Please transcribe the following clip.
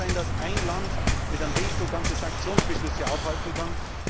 Es kann nicht sein, dass ein Land mit einem Veto ganze Sanktionsbeschlüsse aufhalten kann.